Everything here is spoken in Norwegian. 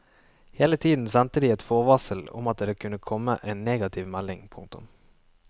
Hele tiden sendte de et forvarsel om at det kunne komme en negativ melding. punktum